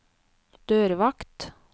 dørvakt